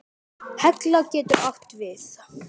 Hella getur átt við